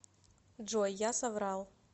джой я соврал